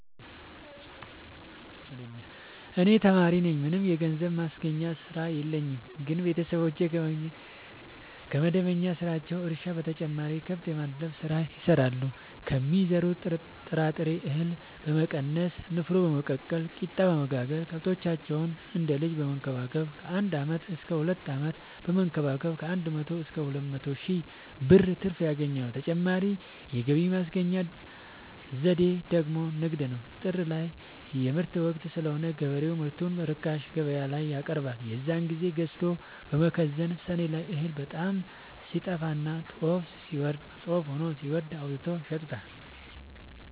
እኔ ተማሪነኝ ምንም የገንዘብ ማስገኛ ስራ የለኝም ግን ቤተሰቦቼ ከመደበኛ ስራቸው እርሻ በተጨማሪ ከብት የማድለብ ስራ ይሰራሉ ከሚዘሩት ጥራጥሬ እሀል በመቀነስ ንፋኖ በመቀቀል ቂጣበወጋገር ከብቶቻቸውን እንደ ልጅ በመከባከብ ከአንድ አመት እስከ ሁለት አመት በመንከባከብ ከአንድ መቶ እስከ ሁለት መቶ ሺ ብር ትርፍ ያገኛሉ። ሌላ ተጨማሪ የገቢ ማስገኛ ዘዴ ደግሞ ንግድ ነው። ጥር ላይ የምርት ወቅት ስለሆነ ገበሬው ምርቱን በርካሽ ገበያላይ ያቀርባል። የዛን ግዜ ገዝተው በመከዘን ሰኔ ላይ እህል በጣም ሲጠፋና ጦፍ ሆኖ ሲወደድ አውጥተው ይሸጡታል።